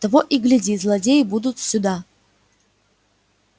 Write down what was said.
того и гляди злодеи будут сюда